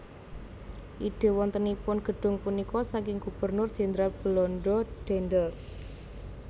Ide wontenipun gedhung punika saking Gubernur Jenderal Belanda Daendels